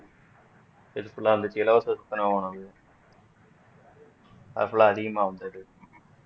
இது full ஆ இருந்துச்சு இலவசம் சத்துணவு அது full அ அதிகமா வந்தது